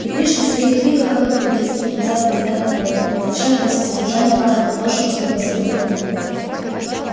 и пришвин в своих книгах как бы перелистывает назад календарь природы и возвращает нас к содержанию каждого прожитого и позабытого дня